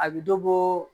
A bɛ dɔ bɔ